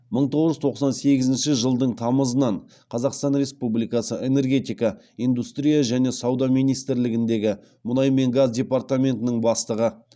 мың тоғыз жүз тоқсан сегізінші жылдың тамызынан қазақстан республикасы энергетика индустрия және сауда министрлігіндегі мұнай мен газ департаментінің бастығы